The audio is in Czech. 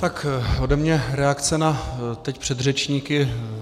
Tak ode mě reakce na teď předřečníky.